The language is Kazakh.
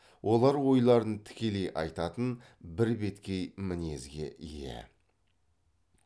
олар ойларын тікелей айтатын бірбеткей мінезге ие